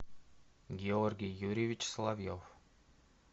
георгий юрьевич соловьев